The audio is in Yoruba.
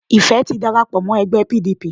Ìfẹ́ ti darapo mó ẹgbẹ́ P. D. P.